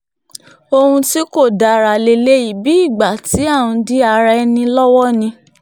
ohun tí kò dára lélẹ́yìí bíi ìgbà tí à ń dí ara ẹni lọ́wọ́ ni